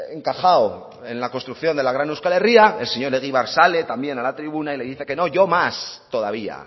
encajado en la construcción de la gran euskal herria el señor egibar sale también a la tribuna y le dice que no yo más todavía